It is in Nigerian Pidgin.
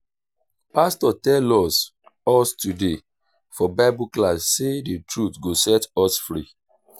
pastor tell us us today for bible class say the truth go set us free